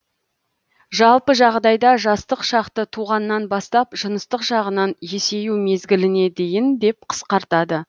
жалпы жағдайда жастық шақты туғаннан бастап жыныстық жағынан есею мезгіліне дейін деп қысқартады